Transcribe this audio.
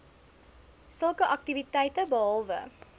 sulke aktiwiteite behalwe